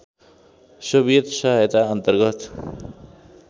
Soviet सहायता अन्तर्गत